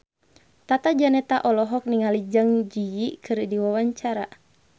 Tata Janeta olohok ningali Zang Zi Yi keur diwawancara